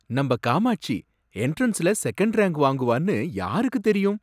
நம்ப காமாட்சி எண்ட்ரன்ஸ்ல second rank வாங்குவான்னு யாருக்கு தெரியும்?